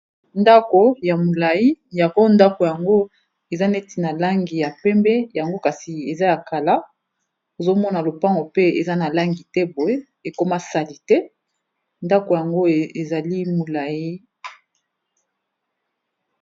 Ndako ya molayi yango ndako yango eza neti na langi ya pembe, yango kasi eza ya kala. Ozo mona lopango pe eza na langi te boye, ekoma salite ndako yango ezali molayi.